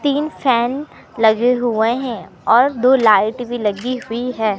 तीन फैन लगे हुए हैं और दो लाइट भी लगी हुई है।